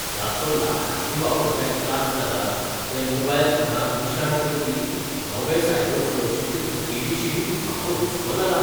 जाचो लाखांनी वापरप्यांक त्रास जाला ते मोबायल फोनांक निशाण करपी नवे सायबर सुरक्षेचे तूटीविशीं म्हाका हुस्को जाला.